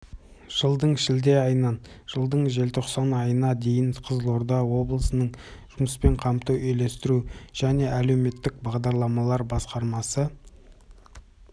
жылдың шілде айынан жылдың желтоқсан айына дейін қызылорда облысының жұмыспен қамтуды үйлестіру және әлеуметтік бағдарламалар басқармасы